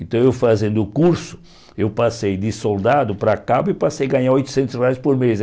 Então, eu fazendo o curso, eu passei de soldado para cabo e passei a ganhar oitocentos reais por mês aí.